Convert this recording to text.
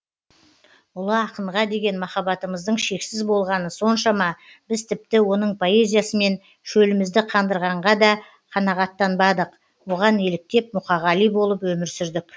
ұлы ақынға деген махаббатымыздың шексіз болғаны соншама біз тіпті оның поэзиясымен шөлімізді қандырғанға да қанағаттанбадық бұған еліктеп мұқағали болып өмір сүрдік